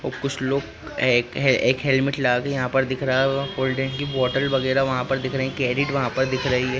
और कुछ लोग एक एक हेलमेट लगा के यहा पर दिख रहा कोल्डड्रिंक की बोतल वगेराह वहा पर दिख रही कैरिड वहा पर दिख रही है।